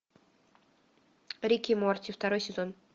рик и морти второй сезон